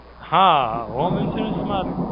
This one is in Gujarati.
હાં, Home Insurance માં